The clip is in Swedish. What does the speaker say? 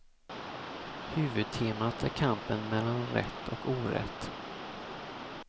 Huvudtemat är kampen melan rätt och orätt.